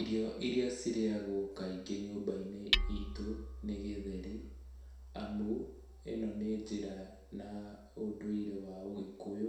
Irio iria cirĩagwo kaingĩ nyũmba-inĩ itũ nĩ gĩtheri, amu ĩno nĩ njĩra na ũndũire wa Ũgĩkũyũ,